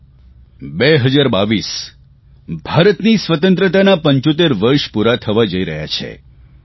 આવો 2022 ભારતની સ્વતંત્રતાનાં 75 વર્ષ પૂરાં થવાં જઇ રહ્યાં છે